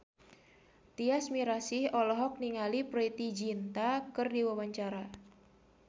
Tyas Mirasih olohok ningali Preity Zinta keur diwawancara